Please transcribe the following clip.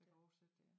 Der oversætter det ja